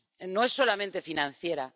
No es solamente financiera.